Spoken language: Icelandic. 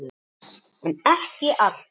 en ekki alltaf